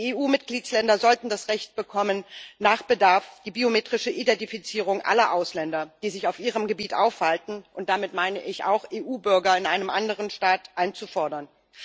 Die EU Mitgliedstaaten sollten das Recht bekommen, nach Bedarf die biometrische Identifizierung aller Ausländer, die sich auf ihrem Gebiet aufhalten und damit meine ich auch EU Bürger in einem anderen Staat einzufordern.